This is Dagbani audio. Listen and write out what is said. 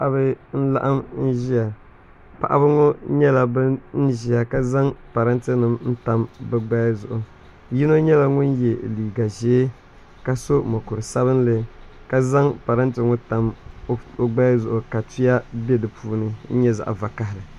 Paɣaba n laɣam ʒiya paɣaba ŋo nyɛla bin ʒiya ka zaŋ parantɛ nik tam bi gbaya zuɣu yino nyɛla ŋun yɛ liiga ʒiɛ ka so mokuru sabinli ka zaŋ parantɛ ŋo tam o gbaya zuɣu ka tuya bɛ di puuni nyɛ zaɣ vakaɣali